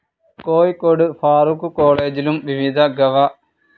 കോഴിക്കോട് ഫാറൂഖ് കോളേജിലും വിവിധ ഗവ.